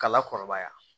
K'a la kɔrɔbaya